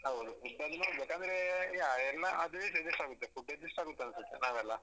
ಹೌದು food ಅದ್ದು ಅಂದ್ರೆ ಯಾ ಎಲ್ಲ ಅದು ಇದು adjust ಆಗುತ್ತೆ food adjust ಆಗುತ್ತೆ ಅನ್ಸುತ್ತೆ ನಾವೇ ಅಲ್ಲ.